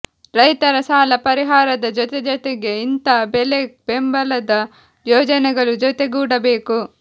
ರೈತರ ಸಾಲ ಪರಿಹಾರದ ಜೊತೆಜೊತೆಗೆ ಇಂಥಾ ಬೆಲೆ ಬೆಂಬಲದ ಯೋಜನೆಗಳು ಜೊತೆಗೂಡಬೇಕು